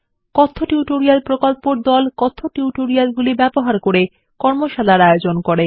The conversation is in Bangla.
কথ্য টিউটোরিয়াল প্রকল্প দল কথ্য টিউটোরিয়ালগুলি ব্যবহার করে কর্মশালার আয়োজন করে